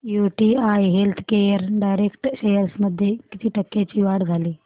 UTI healthcare direct shares मध्ये किती टक्क्यांची वाढ झाली